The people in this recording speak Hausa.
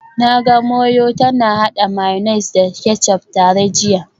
Na ga Moyo tana hada mayonnaise da ketchup tare jiya